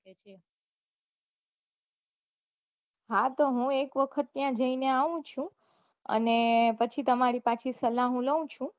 હા તો હું એક વખત ત્યાં જઇને આવું છુ અને પછી તમારું પાછુ સલાહ લઉ છુ